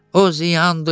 O ziyandır,